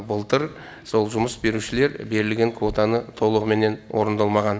былтыр сол жұмыс берушілер берілген квотаны толығыменен орындалмаған